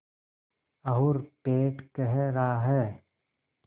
और पेट कह रहा है